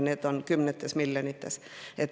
See on kümnetes miljonites eurodes.